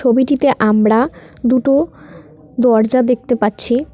ছবিটিতে আমরা দুটো দরজা দেখতে পাচ্ছি।